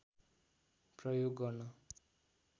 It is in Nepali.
प्रयोग गर्न